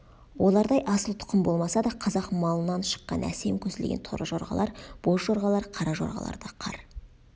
олардай асыл тұқым болмаса да қазақ малынан шыққан әсем көсілген торы жорғалар боз жорғалар қара жорғалар да қар